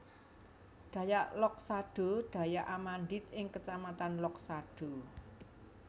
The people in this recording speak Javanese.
Dayak Loksado Dayak Amandit ing kecamatan Loksado